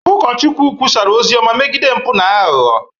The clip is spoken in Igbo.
Ụkọchukwu kwusara ozi ọma megide mpụ na aghụghọ